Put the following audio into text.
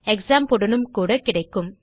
க்ஸாம்ப் உடனும் கூட கிடைக்கும்